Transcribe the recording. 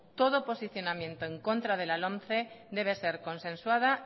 todo posicionamiento en contra de la lomce debe ser consensuada